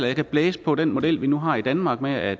jeg kan blæse på den model vi nu har i danmark med at